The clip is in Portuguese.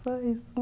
Só isso.